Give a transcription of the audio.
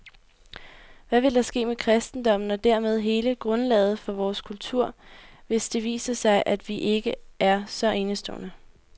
Hvad vil der ske med kristendommen og dermed hele grundlaget for vores kultur, hvis det viser sig, at vi ikke er så enestående?